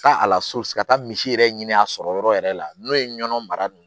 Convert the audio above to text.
Taa a la so ka taa misi yɛrɛ ɲini a sɔrɔ yɔrɔ yɛrɛ la n'o ye nɔnɔ mara